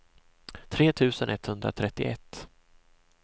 tre tusen etthundratrettioett